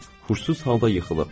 Huşsuz halda yıxılıb.